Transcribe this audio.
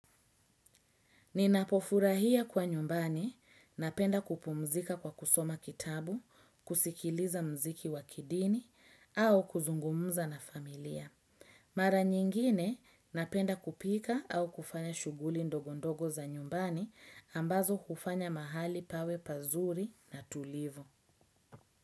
Ninapofurahia kuwa nyumbani, napenda kupumzika kwa kusoma kitabu, kusikiliza muziki wa kidini, au kuzungumza na familia. Mara nyingine, napenda kupika au kufanya shughuli ndogondogo za nyumbani ambazo hufanya mahali pawe pazuri na tulivu.